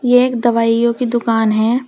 ये एक दवाइयों की दुकान है।